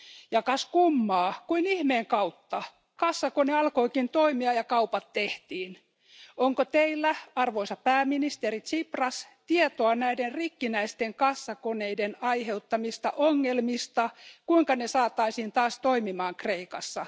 Ja kas kummaa, kuin ihmeen kautta kassakone alkoikin toimia ja kaupat tehtiin. Onko Teillä arvoisa pääministeri Tsipras tietoa näiden rikkinäisten kassakoneiden aiheuttamista ongelmista ja siitä, kuinka ne saataisiin taas toimimaan Kreikassa?